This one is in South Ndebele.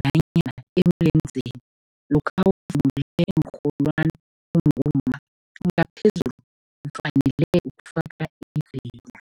nanyana emilenzeni lokha nawuvunule iinrholwani ungumma, ngaphezulu ufanele ukufake idzila.